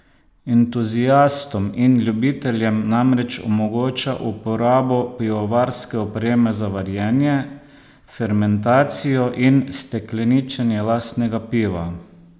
Entuziastom in ljubiteljem namreč omogoča uporabo pivovarske opreme za varjenje, fermentacijo in stekleničenje lastnega piva.